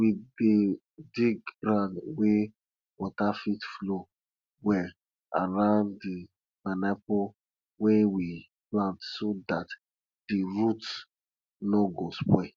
we dey dig ground wey rain fit flow well around di pineapple wey we plant so dat di roots no go spoil